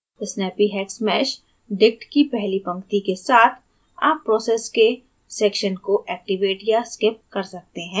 snappyhexmeshdict की पहली पंक्ति के साथ आप process के sections को activate या skip कर सकते हैं